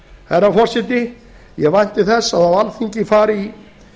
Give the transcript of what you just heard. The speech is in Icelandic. herra forseti ég vænti þess að á alþingi fari